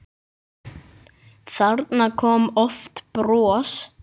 Þarna kom oft bros.